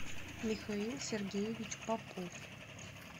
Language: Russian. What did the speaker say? михаил сергеевич попов